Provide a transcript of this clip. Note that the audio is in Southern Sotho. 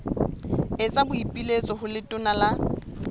etsa boipiletso ho letona la